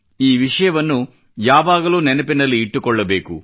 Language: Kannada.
ಈ ವಿಷಯವನ್ನು ಯಾವಾಗಲೂ ನೆನಪಿನಲ್ಲಿ ಇಟ್ಟುಕೊಳ್ಳಬೇಕು